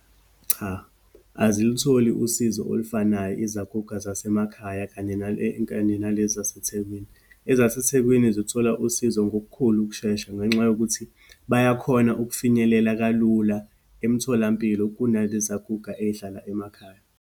Cha, azilutholi usizo olufanayo izaguga zasemakhaya kanye nale, kanye nalezi zaseThekwini. EzaseThekwini zithola usizo ngokukhulu ukushesha, ngenxa yokuthi bayakhona ukufinyelela kalula emtholampilo, kunalezaguga eyihlala emakhaya.